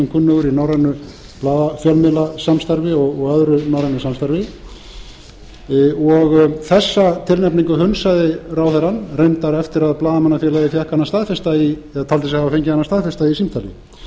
kunnugur í norrænu fjölmiðlasamstarfi og öðru norrænu samstarfi þessa tilnefningu hunsaði ráðherrann reyndar eftir að blaðamannafélagið taldi sig hafa fengið hana staðfesta í símtali